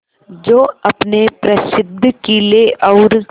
जो अपने प्रसिद्ध किले और